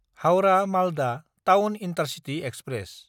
हाउरा–मालदा town intercity express